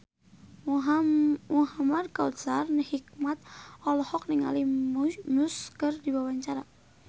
Muhamad Kautsar Hikmat olohok ningali Muse keur diwawancara